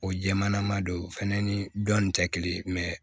O jɛmanama don fɛnɛ ni dɔnni tɛ kelen